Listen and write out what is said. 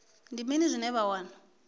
ndi mini zwine vha wana